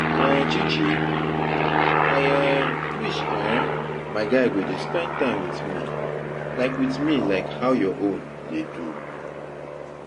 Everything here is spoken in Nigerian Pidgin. um Chichi I um wish um my guy go dey spend time with me like with me like how your own dey do.